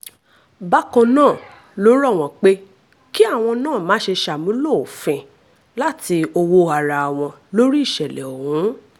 bákan náà ló rọ̀ wọ́n pé kí àwọn náà má ṣe ṣàmúlò òfin láti owó ara wọn lórí ìṣẹ̀lẹ̀ ọ̀hún